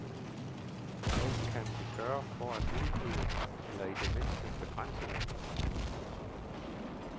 Hvad kan vi gøre for at udrydde eller i det mindste begrænse dem?